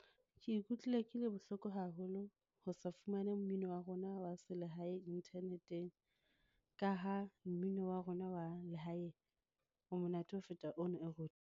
Ke ikutlwile ke le bohloko haholo ho sa fumane mmino wa rona wa se lehae inthaneteng ka ha mmino wa rona wa lehae o monate ho feta ono e re.